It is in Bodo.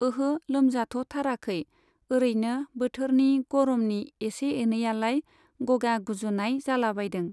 ओहो लोमजाथ'थाराखै, ओरैनो बोथोरनि गरमनि इसे एनैयालाय गगा गुजुनाय जालाबायदों।